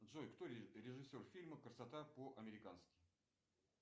джой кто режиссер фильма красота по американски